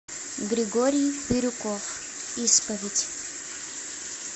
григорий бирюков исповедь